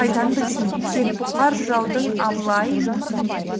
қайдан білсін тек бұқар жыраудың абылай